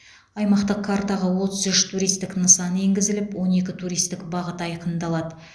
аймақтық картаға отыз үш туристік нысан енгізіліп он екі туристік бағыт айқындалады